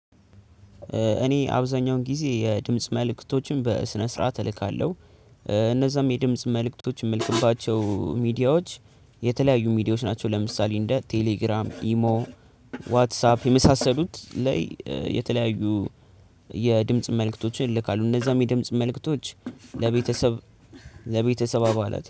እኔ አብዛኛውን ጊዜ የድምጽ መልእክቶችን በስነ ስርዓት እልካለሁ እነዛም የድምጽ መልእክቶች የምልክባቸው ሚዲያዎች የተለያዩ ሚዲያዎች ናቸው። ለምሳሌ እንደ ቴሌግራም፣ ኢሞ፣ ዋትሳፕ የመሳሰሉት ላይ የተለያዩ የድምጽ መልእክቶችን ይልካሉ እነዛም የድምጽ መልእክቶች ለቤተሰብ ለቤተሰብ አባላት